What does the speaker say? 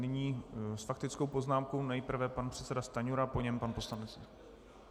Nyní s faktickou poznámkou nejprve pan předseda Stanjura, po něm pan poslanec...